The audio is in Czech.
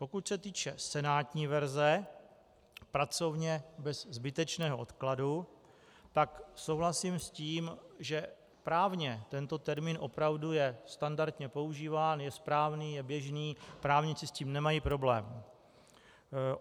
Pokud se týče senátní verze, pracovně "bez zbytečného odkladu", pak souhlasím s tím, že právně tento termín opravdu je standardně používán, je správný, je běžný, právníci s tím nemají problém.